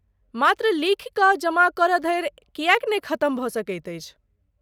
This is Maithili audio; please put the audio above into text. मात्र लिखी कऽ जमा करय धरि किएक नहि खतम भऽ सकैत अछि?